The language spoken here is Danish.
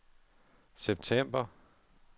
september